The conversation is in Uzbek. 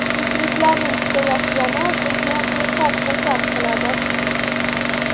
Muxlislarning kutayotgani bizni behad xursand qiladi.